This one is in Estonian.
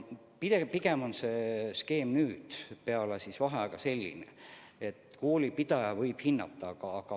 Pigem on skeem nüüd peale vaheaega selline, et koolipidaja võib olukorda hinnata.